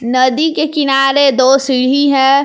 नदी के किनारे दो सीढ़ी है।